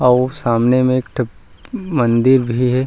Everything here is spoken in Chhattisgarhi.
अऊ सामने म एक ठक मंदिर भी हे।